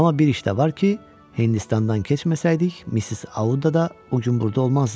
Amma bir iş də var ki, Hindistandan keçməsəydik, Missis Auda da bu gün burda olmazdı.